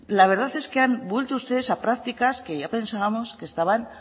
la verdad es que han vuelto ustedes a prácticas que ya pensábamos estaban